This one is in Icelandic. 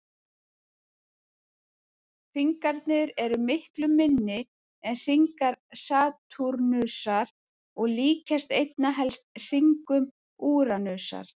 Hringarnir eru miklu minni en hringar Satúrnusar og líkjast einna helst hringum Úranusar.